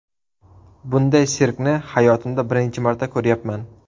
Bunday sirkni hayotimda birinchi marta ko‘ryapman.